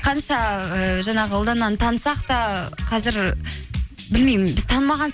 қанша ііі жаңағы ұлдананы танысақ та қазір білмеймін біз танымаған